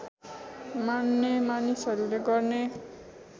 मान्ने मानिसहरूले गर्ने